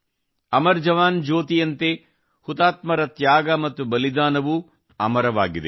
ಅಮರ ಜವಾನ್ ಜ್ಯೋತಿ ಯಂತೆ ಹುತಾತ್ಮರ ತ್ಯಾಗ ಮತ್ತು ಬಲಿದಾನವೂ ಅಮರವಾಗಿದೆ